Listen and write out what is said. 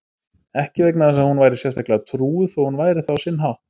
Ekki vegna þess að hún væri sérstaklega trúuð, þó hún væri það á sinn hátt.